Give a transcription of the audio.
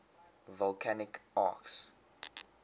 volcanic arcs